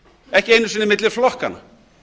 ekki einu sinni milli flokkanna